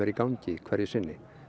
gangi hverju sinni